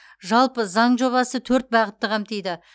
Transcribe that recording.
жалпы заң жобасы төрт бағытты қамтиды